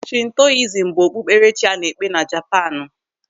Shintoizm bụ okpukperechi a na-ekpe na Japaanu.